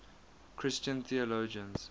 christian theologians